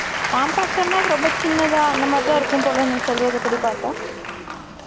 Compact ன்னா, ரொம்ப சின்னதா, அந்த மாதிரிதான் இருக்கும் போல, நீ சொல்றதுபடி பார்த்தா